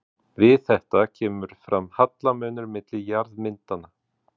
Við þetta kemur fram hallamunur milli jarðmyndana.